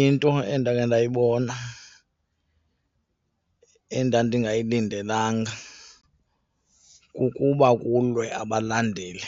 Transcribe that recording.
Into endakhe ndayibona endandingayilindelanga kukuba kulwe abalandeli